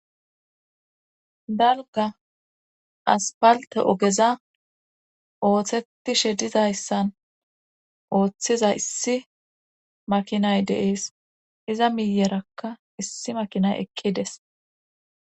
Dalga aspalte ogeza ooththetishe dizayssan ooththiza issi makinay deees iza miyerakka issi makinay ekkides.